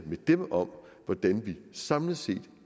med dem om hvordan vi samlet set